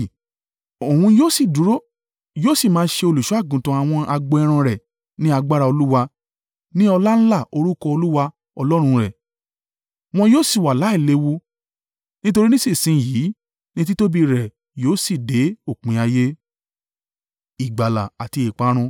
Òun yóò sì dúró, yóò sì máa ṣe olùṣọ́-àgùntàn àwọn agbo ẹran rẹ̀ ní agbára Olúwa, ní ọláńlá orúkọ Olúwa Ọlọ́run rẹ̀. Wọn yóò sì wà láìléwu, nítorí nísinsin yìí ni títóbi rẹ yóò sì dé òpin ayé.